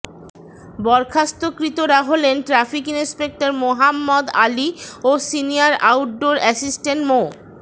বরখাস্তকৃতরা হলেন traffic inspector Mohammad Ali ও senior outdoor assistant মো